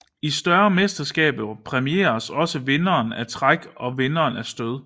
I større mesterskaber præmieres også vinderen af træk og vinderen af stød